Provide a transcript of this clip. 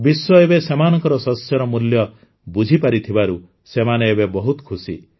ବିଶ୍ୱ ଏବେ ସେମାନଙ୍କ ଶସ୍ୟର ମୂଲ୍ୟ ବୁଝିପାରିଥିବାରୁ ସେମାନେ ଏବେ ବହୁତ ଖୁସି